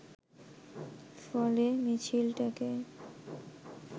ফলে মিছিলটাকে